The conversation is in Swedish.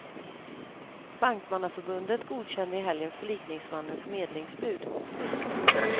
Bankmannaförbundet godkände i helgen förlikningsmannens medlingsbud. punkt